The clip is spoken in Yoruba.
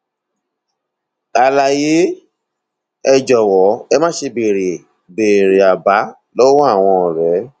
àlàyé ẹ jọwọ ẹ máṣe béèrè béèrè àbá lọwọ àwọn ọrẹ